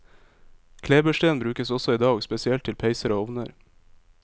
Klebersten brukes også i dag, spesielt til peiser og ovner.